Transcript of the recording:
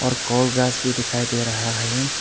और घास भी दिखाई दे रहा है।